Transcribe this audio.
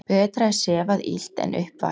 Betra er sefað illt en upp vakið.